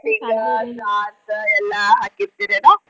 lighting stars ಎಲ್ಲ ಹಾಕಿರ್ತೆರ ಏನ?